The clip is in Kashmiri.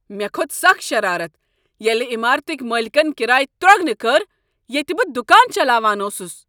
مےٚكھوٚت سخ شرارت ییٚلہ عٮ۪مارتٕکۍ مٲلکن کرایہ ترٛۄگنہٕ کٔر ییٚتہ بہٕ دکان چلاوان اوسس۔